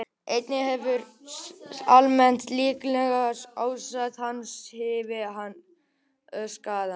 Einnig hefur almennt líkamlegt ástand hans áhrif á skaðann.